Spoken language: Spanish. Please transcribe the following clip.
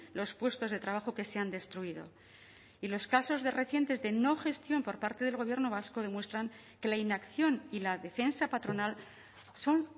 los puestos de trabajo que se han destruido y los casos recientes de no gestión por parte del gobierno vasco demuestran que la inacción y la defensa patronal son